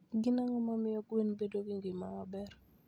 Gin ang'o mamiyo gwen bedo gi ngima maber?